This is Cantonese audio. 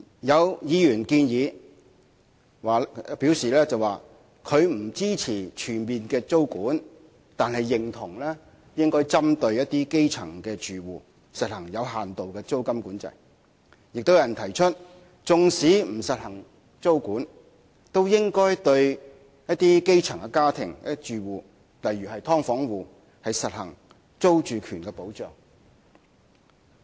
有議員表示不支持全面租管，但認同應該針對一些基層住戶的情況，實行有限度的租管；亦有人提出，縱使不實行租管，都應該對一些基層的家庭或住戶，例如"劏房戶"，實行租住權的保障。